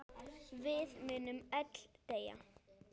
Við munum öll deyja.